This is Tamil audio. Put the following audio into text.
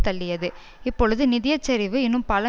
தள்ளியது இப்பொழுது நிதிய சரிவு இன்னும் பல